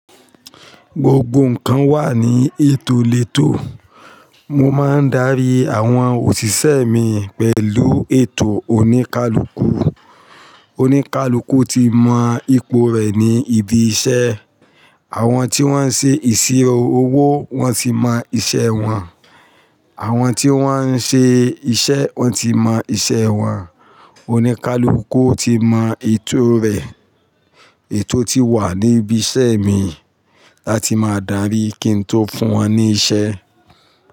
Gbogbo nnkan wà ní ètò lètò. Mo máa ń darí àwọn òṣìṣẹ́ mi pẹ̀lú ètò oníkálukú. Oníkálukú ti mọ ipò rẹ̀ ní ibi iṣẹ́. Àwọn tí wọ́n ń ṣe ìṣirò owó wọ́n ti mọ iṣẹ́ wọn. Àwọn tí wọ́n ń ṣe iṣẹ́ wọ́n ti mọ iṣẹ́ wọn. Oníkálukú ti mọ ìtò rẹ̀. Ètò ti wà ní ibi iṣẹ́ mi. Láti máa darí kí n tó fún wọn ní iṣẹ́.